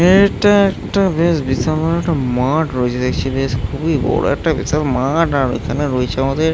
এটা একটা বেশ বিশাল বড়ো একটা মাঠ রয়েছে দেখছি বেশ খুবই বড়ো একটা বিশাল মাঠ আর এখানে রয়েছে আমাদের --